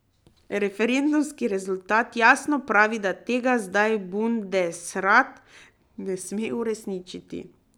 Referendumski rezultat jasno pravi, da tega zdaj Bundesrat ne sme uresničiti.